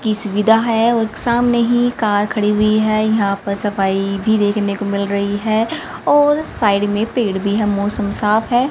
की सुविधा है और एक सामने ही कार खड़ी हुई है यहां पर सफाई भी देखने को मिल रही है और साइड मे पेड़ भी है मौसम साफ है।